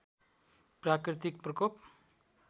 प्राकृतिक प्रकोप